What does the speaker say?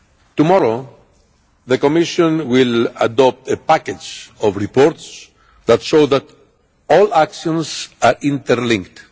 Tomorrow the Commission will adopt a package of reports that show that all actions are interlinked.